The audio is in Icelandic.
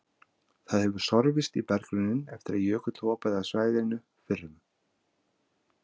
Það hefur sorfist í berggrunninn eftir að jökull hopaði af svæðinu fyrir um